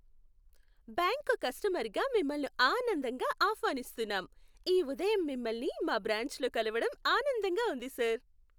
బ్యాంక్కు కస్టమర్గా మిమ్మల్ని ఆనందంగా ఆహ్వానిస్తున్నాం, ఈ ఉదయం మిమ్మల్ని మా బ్రాంచ్లో కలవడం ఆనందంగా ఉంది సర్!